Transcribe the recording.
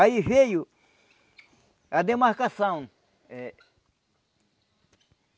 Aí veio a demarcação eh.